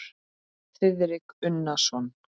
Þiðrik Unason.